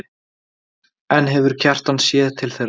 En hefur Kjartan séð til þeirra?